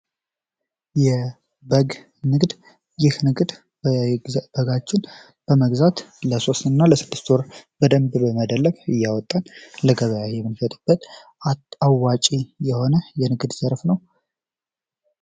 የበግ ንግድ ይህ ንግድ በጎችን በመግዛት ለሶስት እና ለስድስት ወር በደንብ እያደለብን በጎችን እያወጣን ለገበያ የመንሸጥበት አዋጪ የሆነ የንግድ ዘርፍ ነው።